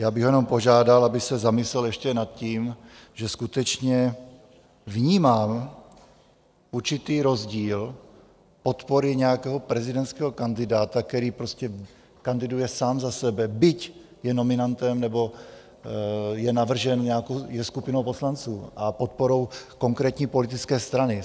Já bych ho jenom požádal, aby se zamyslel ještě nad tím, že skutečně vnímám určitý rozdíl podpory nějakého prezidentského kandidáta, který prostě kandiduje sám za sebe, byť je nominantem nebo je navržen nějakou skupinou poslanců a podporou konkrétní politické strany.